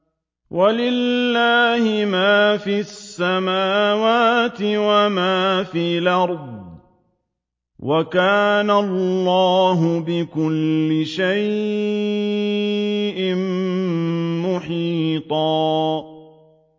وَلِلَّهِ مَا فِي السَّمَاوَاتِ وَمَا فِي الْأَرْضِ ۚ وَكَانَ اللَّهُ بِكُلِّ شَيْءٍ مُّحِيطًا